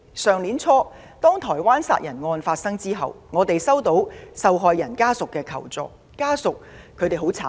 去年年初，台灣殺人案發生後，我們接獲受害人家屬求助。